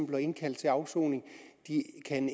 bliver indkaldt til afsoning